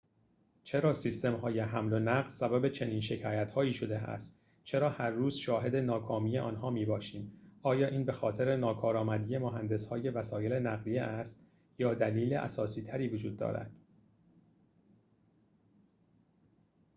چرا سیستم‌های حمل و نقل سبب چنین شکایت‌هایی شده است چرا هر روز شاهد ناکامی آنها می‌باشیم آیا این بخاطر ناکارامدی مهندس‌های وسایل نقلیه است یا دلیل اساسی‌تری وجود دارد